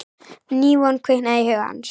Ný von kviknaði í huga hans.